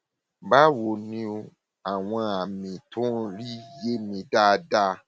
báwo ni o àwọn àmì tí ò ń rí yé mi dáadáa